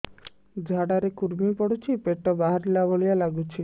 ଝାଡା ରେ କୁର୍ମି ପଡୁଛି ପେଟ ବାହାରିଲା ଭଳିଆ ଲାଗୁଚି